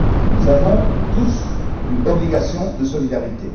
Nous avons tous une obligation de solidarité.